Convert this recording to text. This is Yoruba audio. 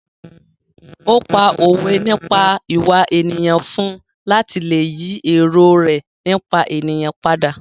Ó pá òwe nípa ìwà ènìyàn fún un láti lè yí èrò rẹ nípa ènìyàn padà.